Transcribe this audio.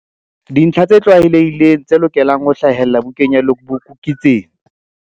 Dintlha tse tlwaelehileng tse lokelang ho hlahella bukeng ya logbook ke tsena.